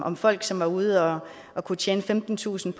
om folk som var ude og og kunne tjene femtentusind